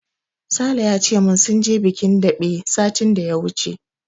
Sale ya ce min sun je bikin daɓe satin da ya wuce.